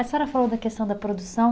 A senhora falou da questão da produção.